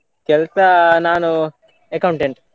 ಕೆಲ್ಸ ನಾನು accountant .